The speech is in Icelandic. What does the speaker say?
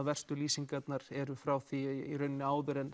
verstu lýsingarnar eru frá því áður en